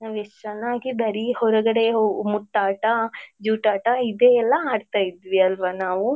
ನಾವ್ ಎಷ್ಟು ಚನ್ನಾಗಿ ಬರೀ ಹೊರಗಡೆ ಹೋ ಮುಟ್ಟಾಟ ಜೂಟಾಟ ಇದೆ ಎಲ್ಲ ಆಡ್ತಾ ಇದ್ವಿ ಅಲ್ವಾ ನಾವು.